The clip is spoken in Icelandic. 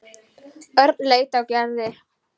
Örn leit á Gerði.